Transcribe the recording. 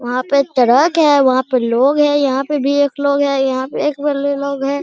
वहाँ पे एक ट्रक है वहाँ पर लोग हैं | यहाँ पे भी एक लोग हैं यहाँ पे भी एक लोग है ।